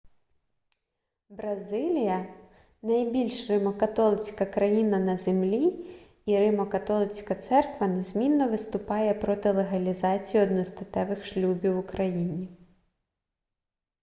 бразилія найбільша римо-католицька країна на землі і римо-католицька церква незмінно виступає проти легалізації одностатевих шлюбів у країні